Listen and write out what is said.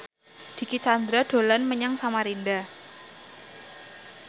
Dicky Chandra dolan menyang Samarinda